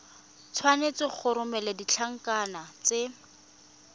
tshwanetse go romela ditlankana tse